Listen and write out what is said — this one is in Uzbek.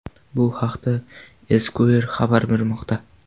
Bu haqda Esquire xabar bermoqda .